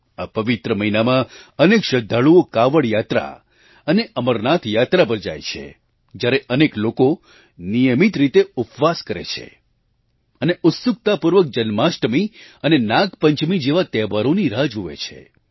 આ પવિત્ર મહિનામાં અનેક શ્રદ્ધાળુઓ કાવડ યાત્રા અને અમરનાથ યાત્રા પર જાય છે જયારે અનેક લોકો નિયમિત રીતે ઉપવાસ કરે છે અને ઉત્સુકતાપૂર્વક જન્માષ્ટમી અને નાગપંચમી જેવા તહેવારોની રાહ જુએ છે